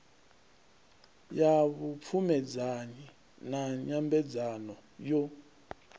ya vhupfumedzanyi na nyambedzano yo